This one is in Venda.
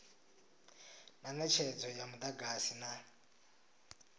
na netshedzo ya mudagasi na